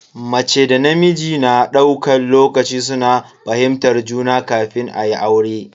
Mace da namiji na daukan lokaci suna fahimtar juna kafin ayi aure.